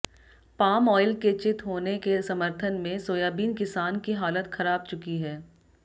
palm oil के चित होने के समर्थन में सोयाबीन किसान की हालत खराब चुकी है